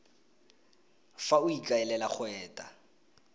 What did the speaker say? fa o ikaelela go eta